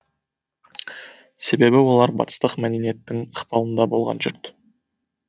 себебі олар батыстық мәдениеттің ықпалында болған жұрт